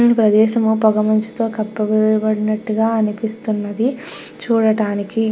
ఈ ప్రదేశము పొగ మంచుతో కప్పివేయపడినట్టుగా అనిపిస్తున్నది చూడడానికి.